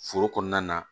Foro kɔnɔna na